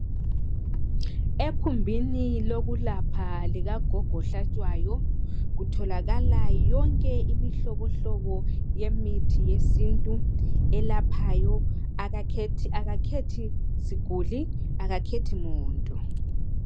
Ekhumbini lokulapha likagogo ohlatshwayo kutholakala yonke imihlobohlobo yesintu elaphayo akakhethi siguli akakhethi muntu